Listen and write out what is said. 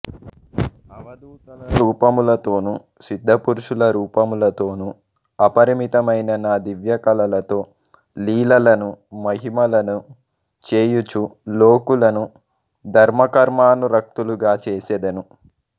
అవధూతల రూపములతోను సిద్దపురుషుల రూపములతోను అపరిమితమైన నా దివ్యకళలతో లీలలను మహిమలను చేయుచూ లోకులను ధర్మకర్మానురక్తులుగా చేసెదను